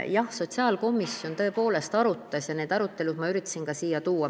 Jah, sotsiaalkomisjon tõepoolest arutas ja need arutelud ma üritasin ka teie ette tuua.